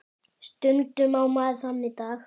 Stundum á maður þannig daga.